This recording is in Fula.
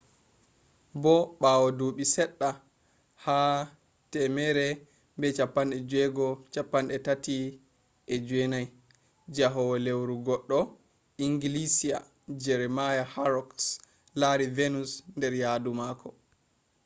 bo ɓawo duuɓi seɗɗa ha 1639 njahowo lewru goɗɗo inglisiya jeremiah horrocks lari venus nder yahdu mako